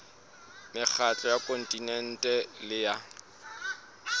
mekgatlo ya kontinente le ya